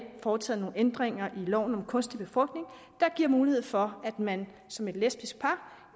har foretaget nogle ændringer i loven om kunstig befrugtning der giver mulighed for at man som et lesbisk par